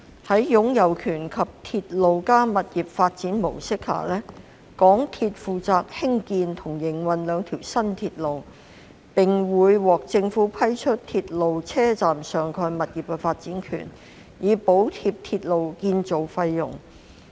在"擁有權"及"鐵路加物業發展"模式下，港鐵公司負責興建及營運該兩條新鐵路，並會獲政府批出鐵路車站上蓋物業的發展權，以補貼鐵路建造費用。